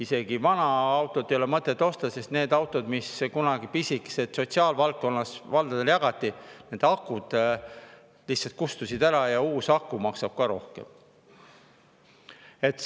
Isegi vana autot ei ole mõtet osta, sest need pisikesed autod, mis kunagi sotsiaalvaldkonna jaoks valdadele jagati – nende akud lihtsalt kustusid ära ja uus aku maksab ka rohkem.